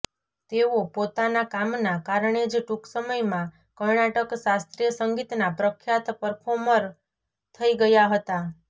તેઓ પોતાના કામના કારણે જ ટૂંક સમયમાં કર્ણાટક શાસ્ત્રીય સંગીતના પ્રખ્યાત પરર્ફોમર થઇ ગયા હતા